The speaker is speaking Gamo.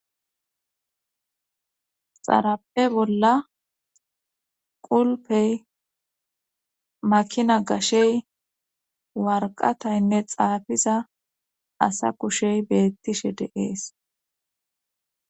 xarape bolla qulpey makina gashey warqataynne xaafiza asa kushey beettishe deees